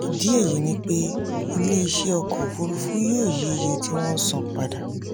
ìdí èyí ni pé iléeṣẹ́ ọkọ̀ òfuurufú yóò yí iye tí wọ́n san padà.